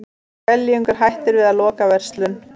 Skeljungur hættir við að loka verslun